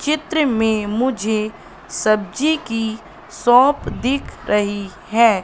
चित्र में मुझे सब्जी की शॉप दिख रही है।